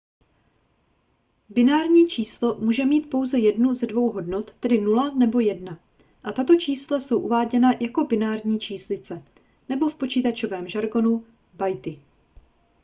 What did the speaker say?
binární číslo může mít pouze jednu z dvou hodnot tedy 0 nebo 1 a tato čísla jsou uváděna jako binární číslice nebo v počítačovém žargonu bity